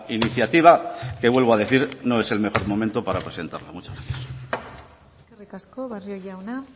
iniciativa que vuelvo a decir no es el mejor momento para presentarla muchas gracias eskerrik asko barrio jauna